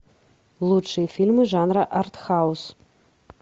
лучшие фильмы жанра артхаус